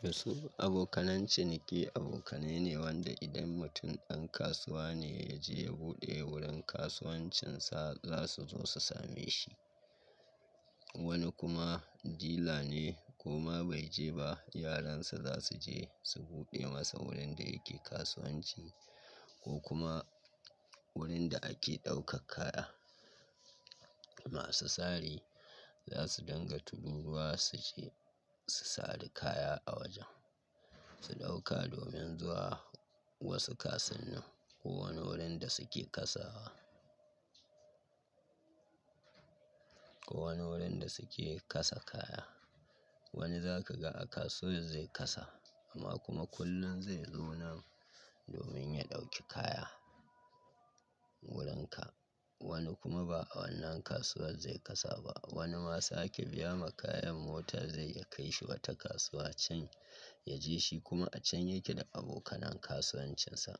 Toh, su abokanan ciniƙi abokanai ne wanda idan mutum ɗan kasuwa ne ya je ya buɗe wurin kasuwancinsa, za su zo su same shi. Wani kuma dila ne, ko ma bai je ba, yaransa za su je su buɗe masa wurin da yake kasuwanci, ko kuma wurin da ake ɗaukar kaya. Masu sari za su dinga tururuwa su je su sari kaya a wajen, su ɗauka domin zuwa wasu kasuwannin ko wani wurin da suke kasawa. Ko wani wurin da suke kasa kaya. Wani za ka ga a kasuwan zai kasa, amma kuma kullum zai zo nan domin ya ɗauki kaya, wurinka. Wani kuma ba a wannan kasuwar zai kasa ba. Wani ma sa ake biya ma kayan mota zaiyi ya kai shi wata kasuwa can, ya je shi kuma a can yake da abokanan kasuwancinsa.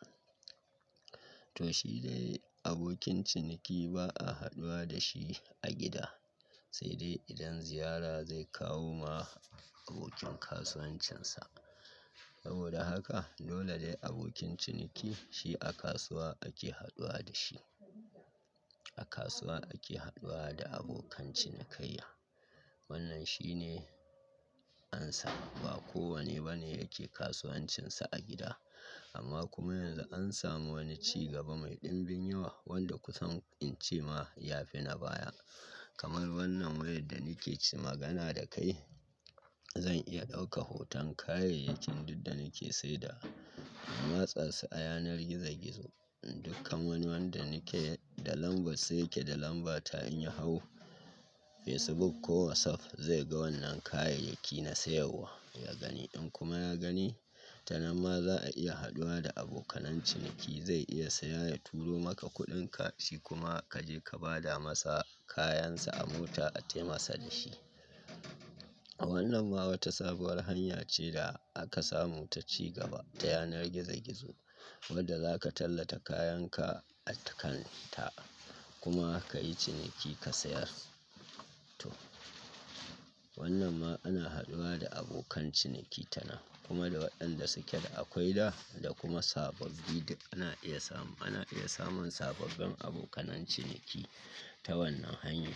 Toh shi dai, abokin ciniki ba'a haduwa da shi a gida. Sai dai idan ziyara zai kawo ma abokin kasuwancinsa. Aboda haka, dole dai abokin ciniki shi a kasuwa ake haduwa da shi. A kasuwa ake haduwa da abokan cinikayya. Wannan shi ne amsa. Ba kowanne ba ne yake kasuwancinsa a gida. Amma kuma yanzu an samu wani ci gaba mai ɗimbin yawa, wanda kusan in ce ma ya fi na baya. Kamar wannan wayar da nike ci magana da kai, zan iya ɗauka hoton kayayyakin duk da nike sai dawa, na matsa su a yanar gizo gizo. Dukkan wani wanda nake da lambar sai yake da lambata, in ya hau Facebook ko WhatsApp, zai ga wannan kayayyaki na siyarwa. Ya gani, in kuma ya gani ta nan ma za a iya haduwa da abokanan ciniki zai iya saya mai ya turo maka kuɗinka, shi kuma ka je ka ba da masa kayansa a mota a taimasa da shi. A wannan ma wata sabuwar hanya ce, da aka samu ta ci gaba ta yanar gizo-gizo wadda za ka tallata kayanka a kan ta, kuma ka yi ciniki ka sayar. Toh, wannan ma ana haɗuwa da abokan ciniki ta nan, kuma da waɗanda suke da akwai da, da kuma sababbi, duk ana iya samu, ana iya samun sababbin abokanan ciniki ta wannan hanya.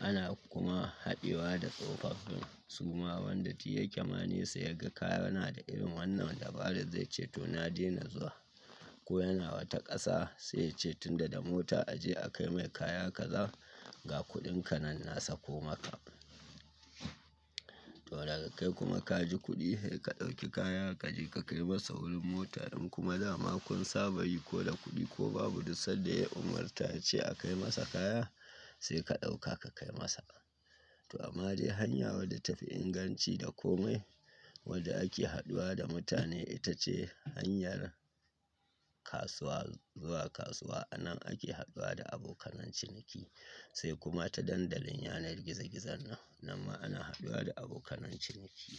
Ana kuma haɗewa da tsofaffin su ma wanda duk ya kema nesa ya ga ka yana da ilimin wannan dabaran, zai ce to na daina zuwa. Ko yana wata ƙasa sai ya ce tunda da mota a je a kai mai kaya kaza ga kuɗinka nan na sako maka. To daga kai kuma ka ji kuɗi, sai ka ɗauki kaya ka je ka kai masa wurin mota, in kuma dama kun saba yi ko da kuɗi ko babu duk sanda ya umarta ce a kai masa kaya, sai ka ɗauka ka kai masa. To amma dai hanya wadda tafi inganci da komai, wadda ake haduwa da mutane ita ce hanyar kasuwa zuwa kasuwa. A nan ake haɗuwa da abokanan ciniki sai kuma ta dandalin yanar gizo-gizon nan, ma ana haɗuwa da abokananciniki.